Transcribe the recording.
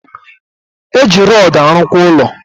Eji rodu alu kwa ulo